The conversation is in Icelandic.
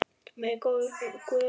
Megi góður Guð styrkja ykkur.